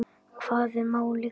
Hvað er málið, gamli?